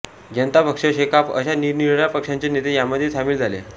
जनता पक्ष शेकाप अशा निरनिराळ्या पक्षांचे नेते यामध्ये सामील झाले